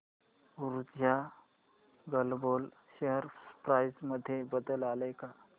ऊर्जा Global share price मध्ये बदल आलाय का